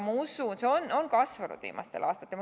Ma usun, et see on kasvanud viimastel aastatel.